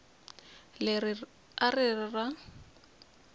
leri a ri ri ra